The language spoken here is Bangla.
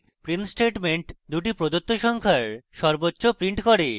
print statement দুটি print সংখ্যার সর্বোচ্চ print করে